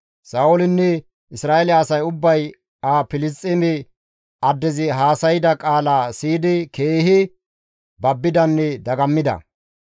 Sa7oolinne Isra7eele asay ubbay ha Filisxeeme addezi haasayda qaalaa siyidi keehi babbidanne dagammida.